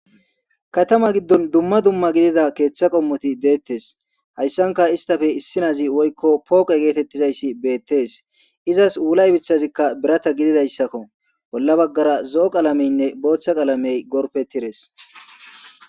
Katama giddon dumma dumma gidida keeththa qommoti deettes hayssanka istafe issinazi woykko pooqe geetettizayssi beettes izas wulay bicthazikka birata gididayssakko bolla baggara zo7o qalameynne booththa qalamey gorpe tires.